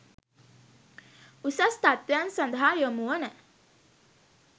උසස් තත්වයන් සඳහා යොමු වන